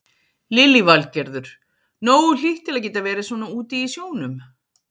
Lillý Valgerður: Nógu hlýtt til að geta verið svona úti í sjónum?